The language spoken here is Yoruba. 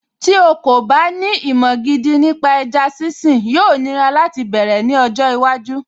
Tí o kò bá ní ìmọ̀ gidi nípa ẹja sínsìn, yóò nira láti bẹ̀rẹ̀ ní ọjọ́ iwájú